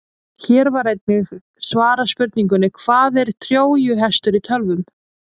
Hér var einnig svarað spurningunni: Hvað er trójuhestur í tölvum?